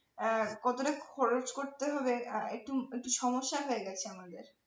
হ্যাঁ কতটা খরচ করতে হবে আহ একটু একটু সমস্যা হয়ে গেছে আমাদের